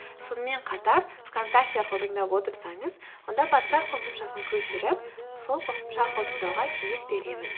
сонымен қатар вконтакте арқылы тыңдап отырсаңыз онда подкаст қосымшасын көшіріп сол қосымша арқылы тыңдауға кеңес беремін